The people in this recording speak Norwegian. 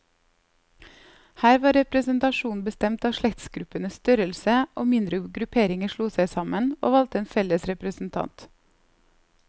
Her var representasjonen bestemt av slektsgruppenes størrelse, og mindre grupperinger slo seg sammen, og valgte en felles representant.